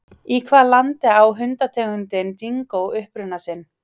Í hvaða landi á hundategundin dingó uppruna sinn?